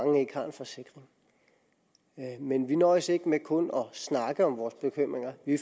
at mange ikke har en forsikring men vi nøjes ikke med kun at snakke om vores bekymringer vi